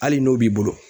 Hali n'o b'i bolo